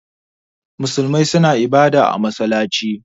Musulmai suna ibada a masallaci.